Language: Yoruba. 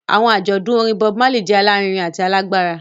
Awọn ajọdun orin Bob Marley jẹ alarinrin ati alagbara.